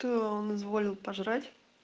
то он изволил пожрать